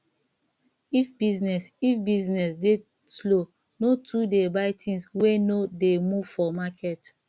if business if business dey slow no too dey buy tins wey no dey move for market